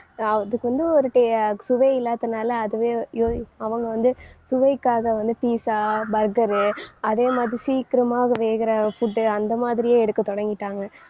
அதுக்கு வந்து ஒரு ta~ சுவையில்லாதனால அதுவே வ~ யோய்~ அவங்க வந்து சுவைக்காக வந்து pizza, burger அதே மாதிரி சீக்கிரமா வேகுற food அந்த மாதிரியே எடுக்க தொடங்கிட்டாங்க.